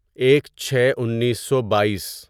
ایک چھے انیسو بائیس